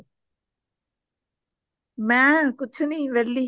ਮੈਂ ਕੁਛ ਨਹੀਂ ਵੇਹਲੀ